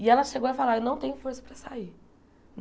E ela chegou a falar, eu não tenho força para sair.